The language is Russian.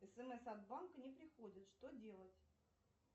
смс от банка не приходит что делать